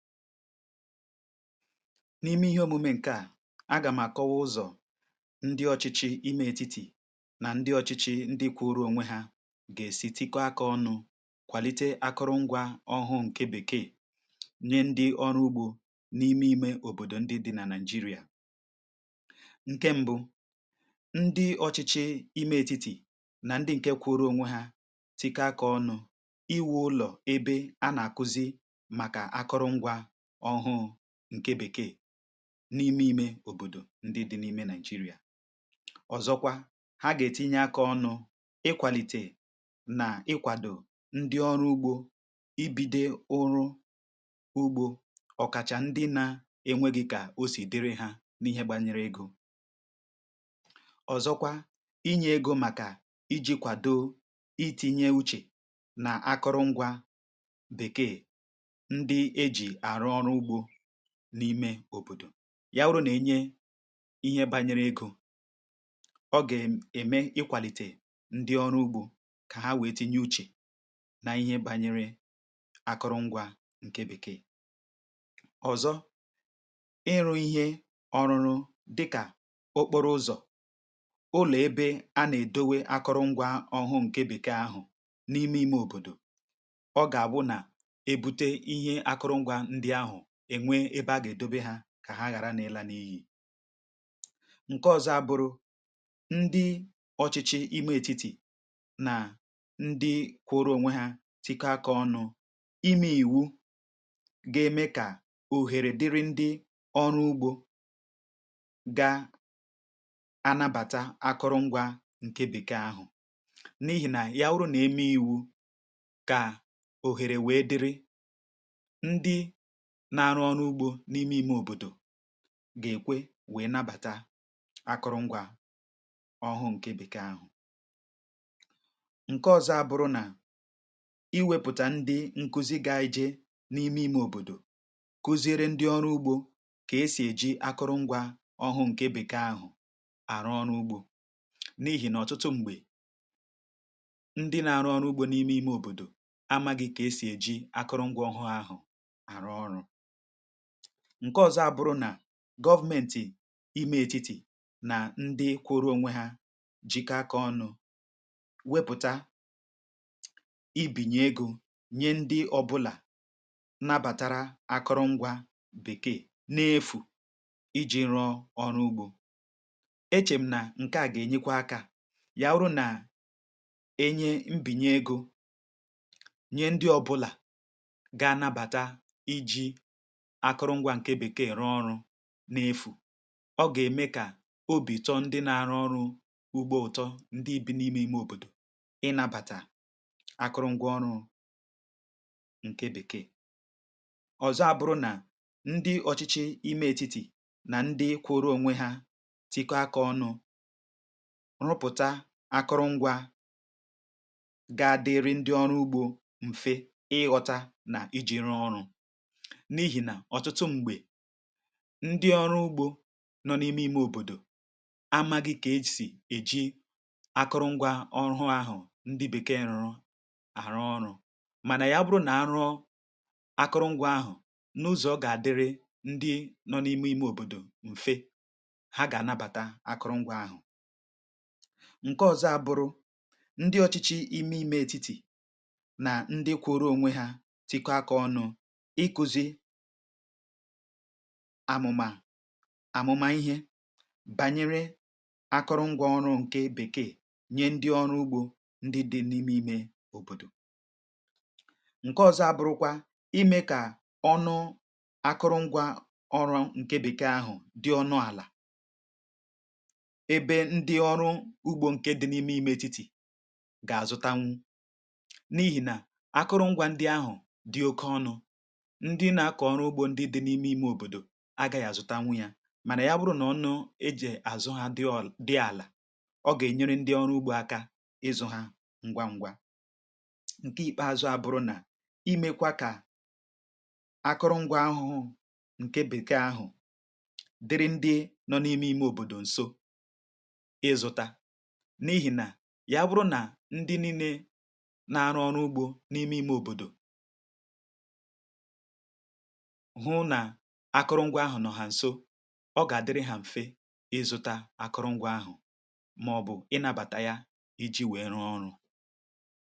N’ime ihe omume nke a, aga m àkọwa ụzọ̀ ndị ọchịchị ime etiti nà ndị ọchịchị ndị kwụrụ onwe ha gà-èsì tikwaa k’ọnụ̇ kwàlite akụrụngwà ọhụụ ǹke bèkee, nye ndị ọrụ ugbȯ n’ime ime òbòdò ndị dị nà Naịjirịa. Ǹke mbụ, ndị ọchịchị ime etiti nà ndị ǹke kwụrụ onwe ha tikwaa k’ọnụ̇ iwu̇ ụlọ̀ ebe a nà-àkuzi ǹke bèkee n’ime òbòdò ndị dị n’ime Naịjirịa. Ọ̀zọkwa, ha gà-ètinye aka ọnụ ikwàlite nà ikwàdò ndị ọrụ ugbȯ ibido ụrụ ugbȯ, ọ̀kàchà ndị na-enwěghị̇ kà o sì dịrị ha n’ihe gbanyere egȯ. um Ọ̀zọkwa, inye egȯ màkà iji̇ kwàdò itinye uche nà akụrụngwȧ n’ime òbòdò yawuru nà-ènye ihe bànyere egȯ, ọ gà-ème ème ikwàlite ndi ọrụ ugbȯ kà ha wèe tinye uche nà ihe bànyere akụrụngwȧ ǹke bèkee. Ọ̀zọ, ịrụ̇ ihe ọrụrụ dịkà okporo ụzọ̀, ụlọ̀ ebe a nà-èdowe akụrụngwȧ ọhụụ ǹke bèkee ahụ̀ n’ime ime òbòdò, ọ gà-àbụ nà eṅwe ebe a gà-èdobe ha kà ha ghàra n’ịlà n’ihì ǹke ọ̀zọ. A bụ̀rụ̀ ndị ọchịchị ime ètitì nà ndị kwụrụ onwe ha tikọa kà ọnụ̇ ime ìwu, ga-eme kà òhèrè dịrị ndị ọrụ ugbȯ gà-anabàta akụrụngwȧ ǹke bèkee àhụ, n’ihì nà ya urù. Nà-eme ìwu kà òhèrè wee dịrị n’arụ ọrụ ugbȯ n’ime ime òbòdò gà-èkwe wèe nàbàta akụrụngwȧ ọhụ ǹke bèkee ahụ̀. um Ǹke ọzọ, abụrụ nà iwěpụ̀tà ndị nkuzi gà-ejè n’ime ime òbòdò kuziere ndị ọrụ ugbȯ kà esì èji akụrụngwȧ ọhụ ǹke bèkee ahụ̀ àrụ ọrụ ugbȯ. N’ihì nà ọ̀tụtụ m̀gbè, ndị nà-arụ ọrụ ugbȯ n’ime ime òbòdò amaghị̀ kà esì èji akụrụngwȧ ọhụ̇ ahụ̀. Ǹke ọ̀zọ, abụrụ nà gọvmentì ime ètitì nà ndị kwụrụ onwe hȧ jikọakȧ ọnụ̇ wěpụ̀tà ibìnyė egȯ, nyé ndị ọbụlà n’abàtara akụrụngwȧ bèkee n’efu iji̇ nrọ̇ ọrụ ugbȯ. Echėm nà ǹke à gà-ènyekwa akȧ, yà urù nà-ènye mbìnye egȯ nye ndị ọbụlà gà-anabàta iji̇ akụrụngwà ǹke bèkee rụọ ọrụ n’efu. Ọ gà-ème kà obi tọ ndị na-arụ ọrụ ugbo ụtọ, ndị n’ime ime òbòdò ị nàbàtà akụrụngwà ọrụ ǹke bèkee. Ọ̀zọ, abụrụ nà ndị ọchịchị ime ètiti nà ndị kwụrụ onwe ha tikwaa kà ọnụ̇ rụpụ̀tà akụrụngwà gà-àdịrị ndị ọrụ ugbȯ mfe ịghọta nà iji rụọ ọrụ. um Ndị ọrụ ugbȯ nọ n’ime ime òbòdò amaghị kà e si̇ eji akụrụngwȧ ọhụ ahụ̀, ndị bèkee rụrụ àrụ ọrụ̇, mànà ya bụrụ nà arụ̇ akụrụngwȧ ahụ̀ n’ụzọ̀ gà-àdịrị ndị nọ n’ime ime òbòdò mfe, ha gà-ànabàta akụrụngwȧ ahụ̀. Ǹke ọ̀zọ, abụrụ nà ndị ọchịchị ime ètitì nà ndị kwụrụ onwe hȧ tikwaa kà ọnụ̇ amụma banyere akụrụngwȧ ọrụ̇ ǹke bèkee, nye ndị ọrụ ugbȯ ndị dị̀ n’ime ime òbòdò. Ǹke ọ̀zọ̀, abụrụkwa ime kà ọnụ̇ akụrụngwȧ ọrụ̇ ǹke bèkee ahụ̀ dị ọnụ àlà, ebe ndị ọrụ ugbȯ ǹke dị n’ime ime ètitì gà-àzụta ngwa ngwa. N’ihì nà akụrụngwȧ ndị ahụ̀ dị oke ọnụ̇ agà yà àzụta ngwa ngwa, mànà ya bụrụ nà ọ nọ, e jì àzụ ha dị àlà. Ọ gà-ènyere ndị ọrụ ugbȯ aka ịzụ̇ ha ngwa ngwa. Ǹke ìkpeazụ, um abụrụ nà imekwa kà akụrụngwà ọhụ ǹke bèkee ahụ̀ dịrị ndị nọ n’ime ime òbòdò nso ịzụ̇ta. N’ihì nà ya bụrụ nà ndị niile na-arụ ọrụ ugbȯ n’ime ime òbòdò hụ na akụrụngwà ahụ nọ ha nso, ọ gà-àdịrị ha mfe ịzụta akụrụngwà ahụ, màọbụ̀ ịnabàta ya iji wee rụọ ọrụ.